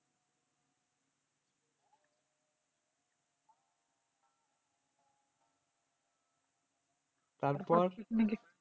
তারপর